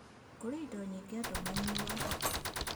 Kũrĩ indo nyingĩ andũ manyuaga